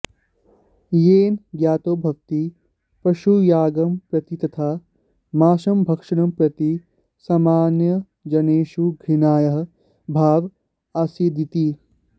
येन ज्ञातो भवति पशुयागं प्रति तथा मांसभक्षणं प्रति सामान्यजनेषु घृणायाः भावः आसीदिति